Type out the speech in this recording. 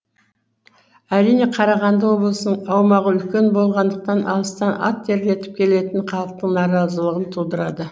әрине қарағанды облысының аумағы үлкен болғандықтан алыстан ат терлетіп келетін халықтың наразылығын тудырады